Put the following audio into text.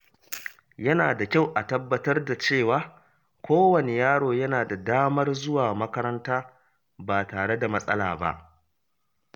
Yana da kyau a tabbatar da cewa kowane yaro yana da damar zuwa makaranta ba tare da matsala ba.